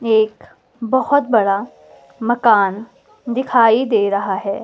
एक बहोत बड़ा मकान दिखाई दे रहा है।